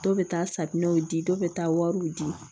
Dɔ bɛ taa safinɛw di dɔ bɛ taa wariw di